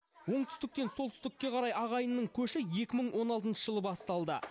оңтүстіктен солтүстікке қарай ағайынның көші екі мың он алтыншы жылы басталды